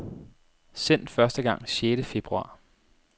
Sendt første gang sjette februar.